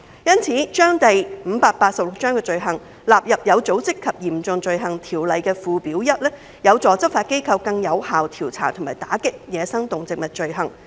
因此，將第586章的走私罪行納入《有組織及嚴重罪行條例》附表 1， 有助執法機構更有效調查和打擊走私野生動植物罪行。